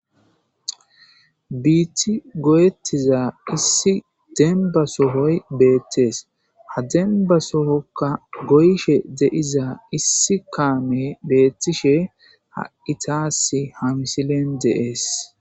biiti goyettiza issi demba sohoy beettees ha denba sohokka goyshe deiza issi kaame beettishe haitaassi ha misilen deees